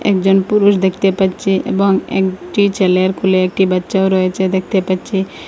একজন পুরুষ দেখতে পাচ্ছি এবং একটি ছেলের কোলে একটি বাচ্চাও রয়েছে দেখতে পাচ্ছি।